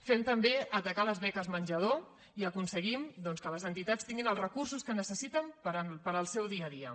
fem també atacar les beques menjador i aconseguim doncs que les entitats tinguin els recursos que necessiten per al seu dia a dia